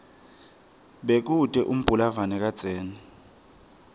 bekute umbulalave kadzeni